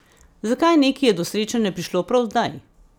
Zakaj neki je do srečanja prišlo prav zdaj?